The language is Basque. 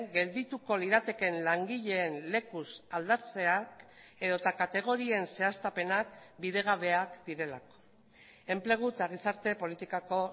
geldituko liratekeen langileen lekuz aldatzeak edota kategorien zehaztapenak bidegabeak direlako enplegu eta gizarte politikako